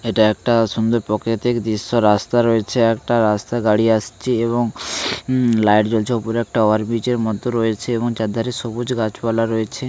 এটা একটা সুন্দর পকিতিক দিশ্য রাস্তা রয়েছে একটা রাস্তায় গাড়ি আসছে এবং উম লাইট জ্বলছে উপরে একটা ওভার ব্রিজ এর মতো রয়েছে চার ধারে সবুজ গাছ পালা রয়েছে।